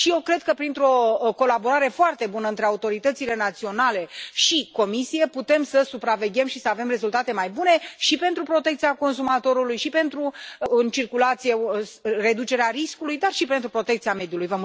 Și eu cred că, printr o colaborare foarte bună între autoritățile naționale și Comisie, putem să supraveghem și să avem rezultate mai bune și pentru protecția consumatorului, și pentru în circulație reducerea riscului, dar și pentru protecția mediului.